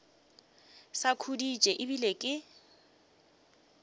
sa khuditše e bile ke